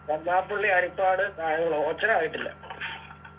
കരുനാഗപ്പള്ളി ഹരിപ്പാട് കായംകുളം ഓച്ചിറ ആയിട്ടില്ല